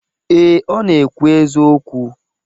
Ee, Ọ na-ekwu eziokwu.